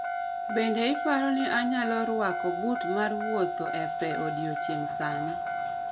Bende iparo ni anyalo rwako but mar mar wuotho e pee odiecheng' sani